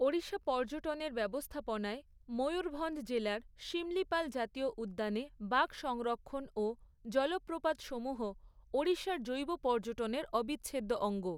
ওড়িশা পর্যটনের ব্যবস্থাপনায় ময়ূরভঞ্জ জেলার সিমলিপাল জাতীয় উদ্যানে বাঘ সংরক্ষণ ও জলপ্রপাতসমূহ ওড়িশার জৈব পর্যটনের অবিচ্ছেদ্য অঙ্গ।